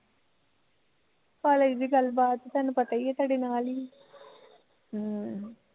college ਦੀ ਗੱਲ ਬਾਤ ਤੈਨੂੰ ਪਤਾ ਈ ਐ ਤੁਹਾਡੇ ਨਾਲ਼ ਈ ਹਮ